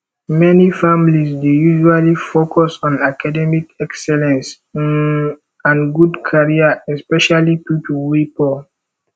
many families dey usually focus on academic excellence um and good career especially pipo wey poor